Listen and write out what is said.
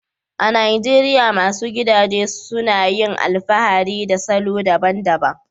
A Najeriya, masu gidaje suna yin alfahari da salo daban-daban